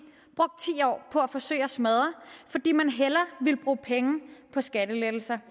år på at forsøge at smadre fordi man hellere ville bruge penge på skattelettelser